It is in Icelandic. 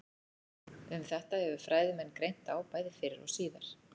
Um þetta hefur fræðimenn greint á bæði fyrr og síðar.